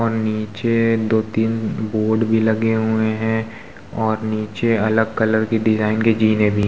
और नीचे दो तीन बोर्ड भी लगे हुए हैं और नीचे अलग कलर के डिजाईन के जीने भी --